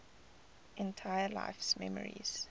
entire life's memories